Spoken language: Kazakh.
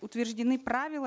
утверждены правила